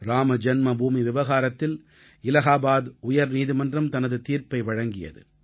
இராமஜன்மபூமி விவகாரத்தில் இலாஹாபாத் உயர்நீதிமன்றம் தனது தீர்ப்பை வழங்கியது